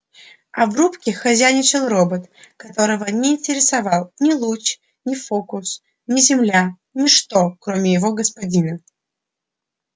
а в рубке хозяйничал робот которого не интересовал ни луч ни фокус ни земля ничто кроме его господина